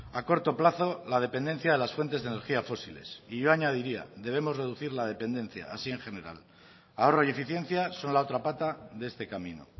a corto plazo la dependencia de las fuentes de energía fósiles y yo añadiría debemos reducir la dependencia así en general ahorro y eficiencia son la otra pata de este camino